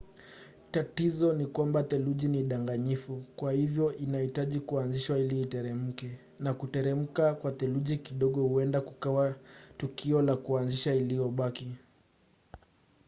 tatizo ni kwamba theluji ni danganyifu kwa hivyo inahitaji kuanzishwa ili iteremke na kuteremka kwa theluji kidogo huenda kukawa tukio la kuanzisha iliyobaki